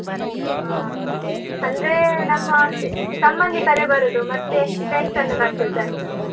ಹಾ. ಹೌದು. ಅಂದ್ರೇ ನಮ್ಮ ಅದೆ, ಸಂಬಂಧಿಕರೇ ಬರುದು ಮತ್ತೆ friends ಅನ್ನು ಕರ್ದದ್ದು ಅಷ್ಟೇ.